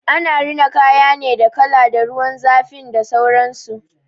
Ana rina kaya ne da kala, da ruwan zafin da sauransu.